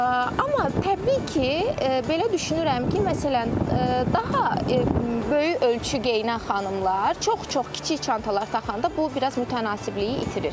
Amma təbii ki, belə düşünürəm ki, məsələn, daha böyük ölçü geyinən xanımlar, çox-çox kiçik çantalar taxanda bu biraz mütənasibliyi itirir.